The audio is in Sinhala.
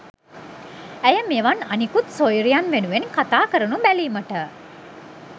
ඇය මෙවන් අනිකුත් සොයුරියන් වෙනුවෙන් කතා කරනු බැලීමට